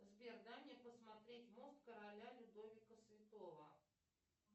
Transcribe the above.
сбер дай мне посмотреть мост короля людовика святого